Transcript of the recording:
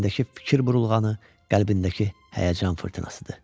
Beynindəki fikir burulğanı, qəlbindəki həyəcan fırtınasıdır.